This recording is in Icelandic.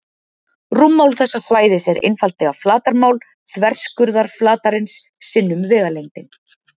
Rúmmál þessa svæðis er einfaldlega flatarmál þverskurðarflatarins sinnum vegalengdin.